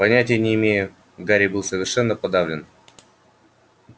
понятия не имею гарри был совершенно подавлен